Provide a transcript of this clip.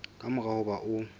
ka mora ho ba o